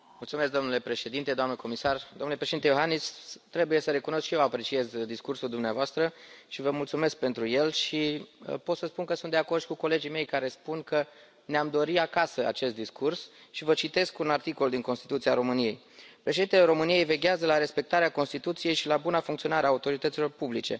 Domnule Președinte, doamnă comisar, domnule Președinte Iohannis, trebuie să recunosc, și eu apreciez discursul dumneavoastră și vă mulțumesc pentru el și pot să spun că sunt de acord și cu colegii mei care spun că ne am dori acasă acest discurs și vă citesc un articol din Constituția României, Președintele României veghează la respectarea Constituției și la buna funcționare a autorităților publice.